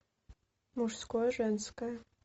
мужское женское